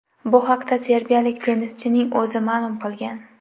Bu haqda serbiyalik tennischining o‘zi ma’lum qilgan.